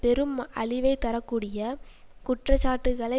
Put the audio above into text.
பெரும் அழிவைத்தரக்கூடிய குற்றச்சாட்டுக்களை